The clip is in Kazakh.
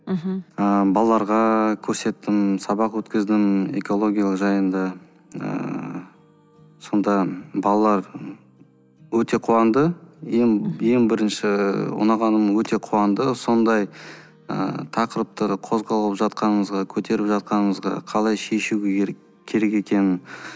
мхм ы балаларға көрсеттім сабақ өткіздім экология жайында ыыы сонда балалар өте қуанды ең ең бірінші ұнағаны өте қуанды сондай ы тақырыпты қозғалып жатқанымызға көтеріп жатқанымызға қалай шешу керек керек екенін